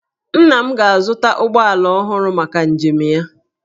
Nna m ga-azụta ụgbọala ọhụrụ maka njem ya.